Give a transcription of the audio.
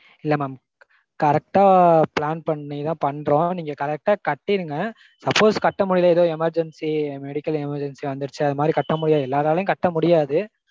இல்ல mam correct ஆ plan பண்ணிதா பண்றோம். நீங்க correct ஆ கட்டிருங்க suppose கட்ட முடியல ஏதோ emergency medical emergency வந்துருச்சு அது மாதிரி கட்ட முடியல எல்லாராலையும் கட்ட முடியாது.